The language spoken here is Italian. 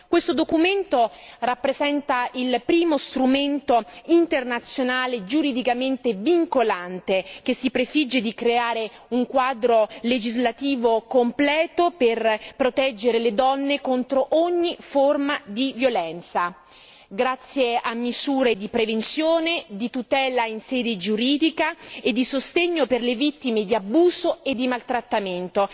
Questo documento rappresenta il primo strumento internazionale giuridicamente vincolante che si prefigge di creare un quadro legislativo completo per proteggere le donne contro ogni forma di violenza, grazie a misure di prevenzione, di tutela in sede giuridica e di sostegno per le vittime di abuso e di maltrattamento.